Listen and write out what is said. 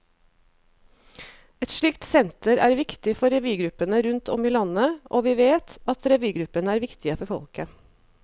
Et slikt senter er viktig for revygruppene rundt om i landet, og vi vet at revygruppene er viktige for folket.